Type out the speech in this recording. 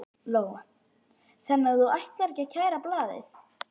Lóa: Þannig að þú ætlar ekki að kæra blaðið?